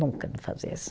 Nunca me fazia isso.